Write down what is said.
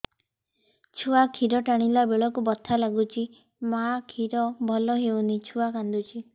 ଛୁଆ ଖିର ଟାଣିଲା ବେଳକୁ ବଥା ଲାଗୁଚି ମା ଖିର ଭଲ ହଉନି ଛୁଆ କାନ୍ଦୁଚି